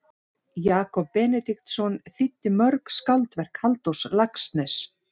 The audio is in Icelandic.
Jakob Benediktsson þýddi mörg skáldverk Halldórs Laxness.